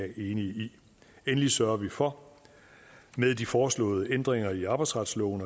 i endelig sørger vi for med de foreslåede ændringer i arbejdsretsloven